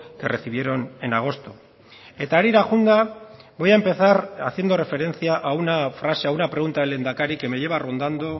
que recibieron en agosto eta harira joanda voy a empezar haciendo referencia a una frase a una pregunta del lehendakari que me lleva rondando